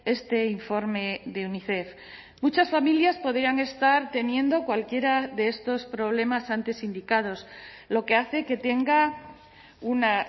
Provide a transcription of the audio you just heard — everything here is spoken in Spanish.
este informe de unicef muchas familias podrían estar teniendo cualquiera de estos problemas antes indicados lo que hace que tenga una